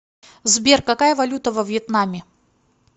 сбер какая валюта во вьетнаме